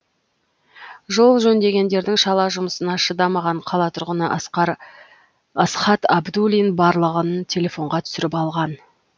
жол жөндегендердің шала жұмысына шыдамаған қала тұрғыны асхат абдулин барлығын телефонға түсіріп алған